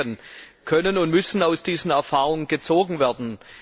Vier Lehren können und müssen aus diesen Erfahrungen gezogen werden.